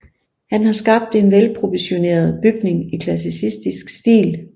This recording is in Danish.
Han har skabt en velproportioneret bygning i klassicistisk stil